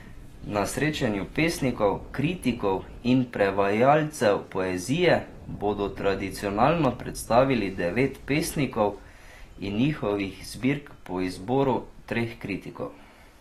Na srečanju pesnikov, kritikov in prevajalcev poezije bodo tradicionalno predstavili devet pesnikov in njihovih zbirk po izboru treh kritikov.